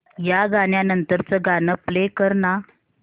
या गाण्या नंतरचं गाणं प्ले कर ना